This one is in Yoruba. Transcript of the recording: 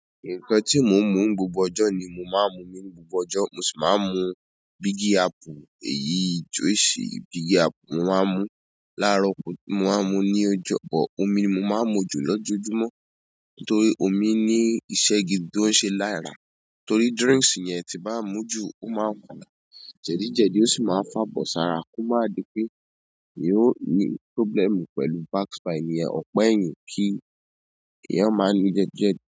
Ǹkan tí mò ń mu ń gbogbo ọjọ́ ni mo ma ń mumi ní gbogbo ọjọ́, mo sì ma ń mu Bigi Apple, èyíi juice Bigi Apple, mo ma ń mu ú, láàárọ̀ kù, mo ma ń mu ú ní ọjọ́ kan. Omi ni mo máa ń mu jù lójoojúmọ́ torí omí ní iṣẹ́ gidi tó ń ṣe lára, torí drinks yẹn tí nbá mu ú jù ó ma ń fa jẹ̀díjẹ̀dí ó sì máa ń fàbọ̀ sára kó má di pé èèyàn óò ní problem pẹ̀lú back spine. Ìyẹn ọ̀pá ẹ̀yìn kí èèyàn má nìí jẹ̀díjẹ̀dí.